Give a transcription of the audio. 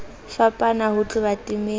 fapana ho tloha temeng e